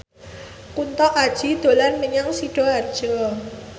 Kunto Aji dolan menyang Sidoarjo